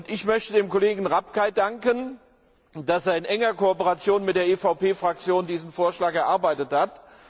Ich möchte dem Kollegen Rapkay dafür danken, dass er in enger Kooperation mit der EVP Fraktion diesen Vorschlag erarbeitet hat.